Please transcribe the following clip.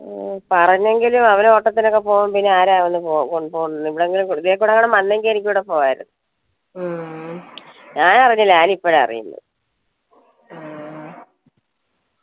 പറഞ്ഞെങ്കിലും അവര് ഓട്ടത്തിലൊക്കെ പോവുമ്പോൾ പിന്നെ ആരാ ഇതിലെ കൂടാ വന്നെങ്കിൽ എനിക്കൂടെ പോവായിരുന്നു ഞാനറിന്നില്ല ഞാനിപ്പഴാ അറിയുന്നേ